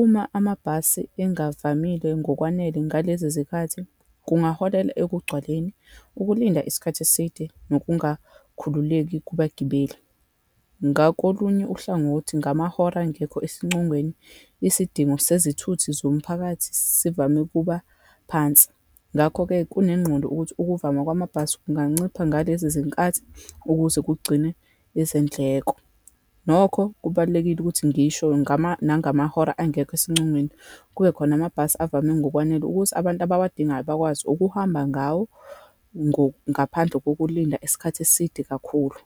Uma amabhasi engavamile ngokwanele ngalezi zikhathi, kungaholela ekugcwaleni, ukulinda isikhathi eside, nokungakhululeki kubagibeli. Ngakolunye uhlangothi ngamahora angekho esincongweni, isidingo sezithuthi zomphakathi sivame ukuba phansi, ngakho-ke kunengqondo ukuthi ukuvama kwamabhasi kungancipha ngalezi zinkathi ukuze kugcine izindleko. Nokho kubalulekile ukuthi ngisho ngama, nangamahora angekho esincongweni, kube khona amabhasi avame ngokwanele, ukuthi abantu abawadingayo bakwazi ukuhamba ngawo ngaphandle kokulinda isikhathi eside kakhulu.